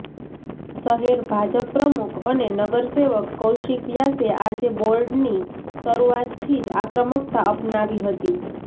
શહેર ભાજપ પ્રમુખ અને નગરસેવક કૌશિક વ્યાસે આજે બોર્ડની શરૂઆતથી જ આક્રમકતા અપનાવી હતી